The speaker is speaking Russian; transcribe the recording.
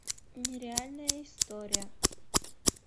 нереальная история